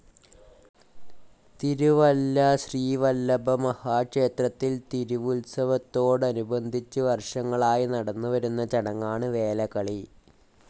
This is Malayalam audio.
തിരുവല്ല ശ്രീവല്ലഭമഹാ ക്ഷേത്രത്തിൽ തിരുവുത്സവത്തോടനുബദധിച്ചു വർഷങ്ങളായി നടന്നുവരുന്നചടങ്ങാണ് വേലകളി.